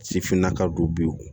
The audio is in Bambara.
Sifinnaka don